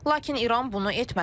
Lakin İran bunu etmədi.